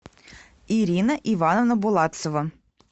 ирина ивановна булатцева